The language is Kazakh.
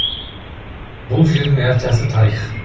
бұл жердің әр тасы тарих